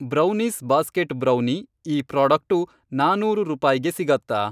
Brownies basket brownie, ಈ product ನಾನೂರು ರೂಪಾಯ್ಗೆ ಸಿಗತ್ತಾ?